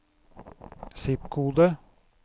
zip-kode